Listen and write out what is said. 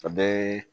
A bɛ